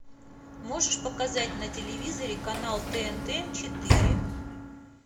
можешь показать на телевизоре канал тнт четыре